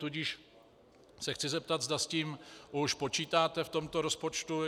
Tudíž se chci zeptat, zda s tím už počítáte v tomto rozpočtu.